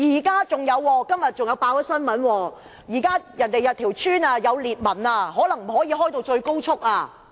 今天新聞還報道，有些村屋出現裂紋，高鐵可能不可以最高速行駛。